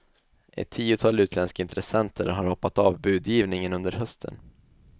Ett tiotal utländska intressenter har hoppat av budgivningen under hösten.